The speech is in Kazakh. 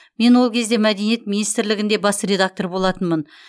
мен ол кезде мәдениет министрлігінде бас редактор болатынмын